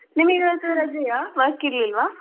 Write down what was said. ನಿಮಿಗಿವತ್ತು ರಜೆಯಾ work ಇರ್ಲಿಲ್ವಾ?